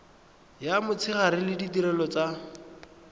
ya motshegare le ditirelo tsa